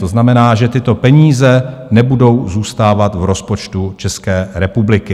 To znamená, že tyto peníze nebudou zůstávat v rozpočtu České republiky.